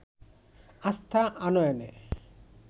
আস্থা আনয়নে